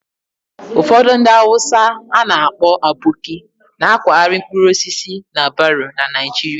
Ụfọdụ ndị Hausa a na-akpọ 'Aboki' na-akwagharị mkpụrụ osisi na baro na Naịjirịa